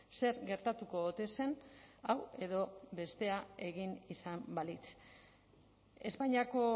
zer gertatuko ote zen hau edo bestea egin izan balitz espainiako